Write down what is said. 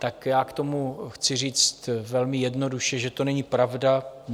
Tak já k tomu chci říct velmi jednoduše, že to není pravda.